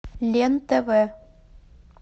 лен тв